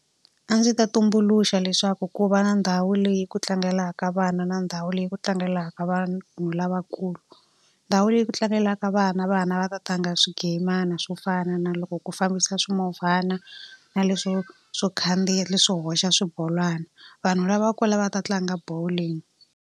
A ndzi ta tumbuluxa leswaku ku va na ndhawu leyi ku tlangelaka vana na ndhawu leyi ku tlangelaka vanhu lavakulu. Ndhawu leyi ku tlangelaka vana, vana va ta tlanga swigayimana swo fana na loko ku fambisa swimovhana, na leswo swo khandziya leswi swo hoxa swibolwana. Vanhu lavakulu va ta tlanga bowling.